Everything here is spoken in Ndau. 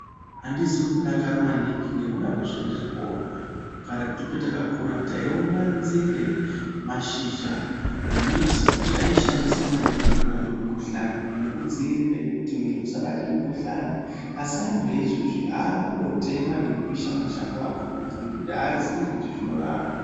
Andizi kudakara maningi ngekuda kwezvendiri kuona. Karetu petakakura taitona nzinde, mashakanyi emimbiti zvaishandiswa maningi kurape mukhuhlani nekudziirire kuti mwiri usabate mukhuhlani. Asi anthu aizvezvi aakundotema nekupisha mashango akhona ngekuti aazii kuti zvinorapa.